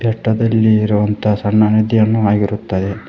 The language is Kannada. ಬೆಟ್ಟದಲ್ಲಿ ಇರುವಂತ ಸಣ್ಣ ನದಿಯನ್ನು ಆಗಿರುತ್ತದೆ.